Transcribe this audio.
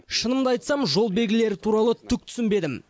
шынымды айтсам жол белгілері туралы түк түсінбедім